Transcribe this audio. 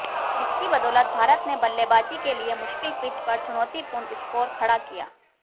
जिसकी बदौलत भारत ने बल्लेबाजी के लिए मुश्किल पिच पर चुनौतीपूर्ण स्कोर खड़ा किया